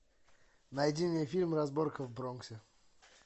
найди мне фильм разборка в бронксе